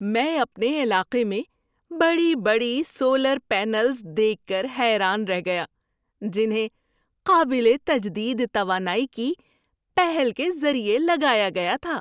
میں اپنے علاقے میں بڑی بڑی سولر پینلز دیکھ کر حیران رہ گیا جنہیں قابل تجدید توانائی کی پہل کے ذریعے لگایا گیا تھا۔